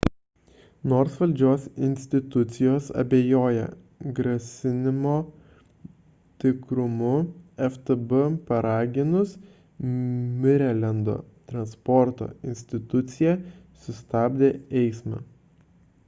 nors valdžios institucijos abejoja grasinimo tikrumu ftb paraginus marilendo transporto institucija sustabdė eismą